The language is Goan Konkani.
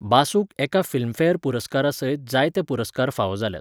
बासूक एका फिल्मफेअर पुरस्कारसयत जायते पुरस्कार फावो जाल्यात.